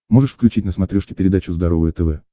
можешь включить на смотрешке передачу здоровое тв